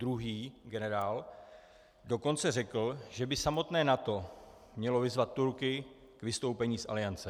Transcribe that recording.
Druhý generál dokonce řekl, že by samotné NATO mělo vyzvat Turky k vystoupení z Aliance.